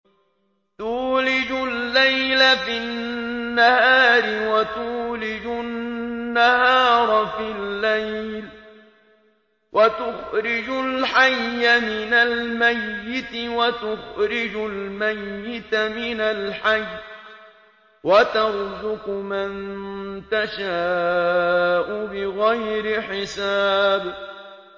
تُولِجُ اللَّيْلَ فِي النَّهَارِ وَتُولِجُ النَّهَارَ فِي اللَّيْلِ ۖ وَتُخْرِجُ الْحَيَّ مِنَ الْمَيِّتِ وَتُخْرِجُ الْمَيِّتَ مِنَ الْحَيِّ ۖ وَتَرْزُقُ مَن تَشَاءُ بِغَيْرِ حِسَابٍ